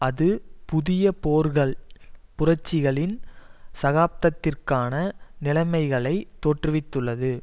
அது புதிய போர்கள் புரட்சிகளின் சகாப்தத்திற்கான நிலைமைகளை தோற்றுவித்துள்ளது